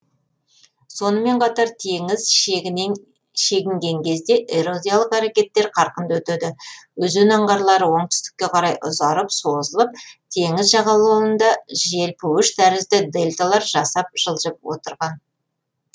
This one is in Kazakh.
сонымен қатар теңіз шегінген кезде эрозиялық әрекеттер қарқынды өтеді өзен аңғарлары оңтүстікке қарай ұзарып созылып теңіз жағалауларында желпуіш тәрізді дельталар жасап жылжып отырған